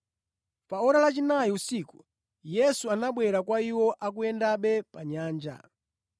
Pa ora lachinayi usiku, Yesu anabwera kwa iwo akuyendabe pa nyanja.